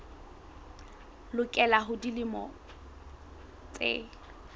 lokela ho ba dilemo tse